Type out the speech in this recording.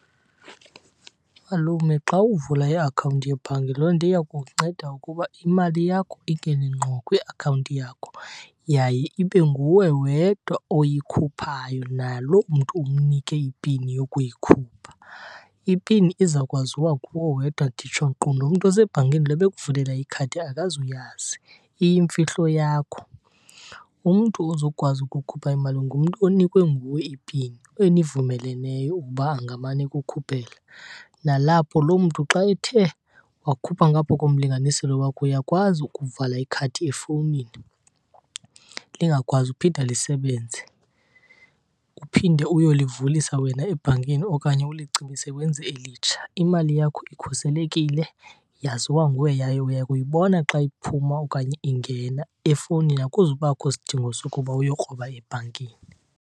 Malume, xa uvula iakhawunti yebhanki loo nto iya kukunceda ukuba imali yakho ingene ngqo kwiakhawunti yakho yaye ibe nguwe wedwa oyikhuphayo naloo mntu umnike ipini yokuyikhupha. Ipini izawukwaziwa nguwe wedwa nditsho nkqu nomntu osebhankini lo ebekuvulela ikhadi akazuyazi, iyimfihlo yakho. Umntu ozokwazi ukukhupha imali ngumntu onikwe nguwe ipini enivumeleneyo ukuba angamane ekukhuphela. Nalapho loo mntu xa ethe wakhupha ngapha komlinganiselo wakho uyakwazi ukuvala ikhadi efowunini lingakwazi ukuphinda lisebenze, uphinde uyolivulisa wena ebhankini okanye ulicimise wenze elitsha. Imali yakho ikhuselekile, yaziwa nguwe yaye uya kuyibona xa iphuma okanye ingena efowunini, akuzubakho sidingo sokuba uyokroba ebhankini.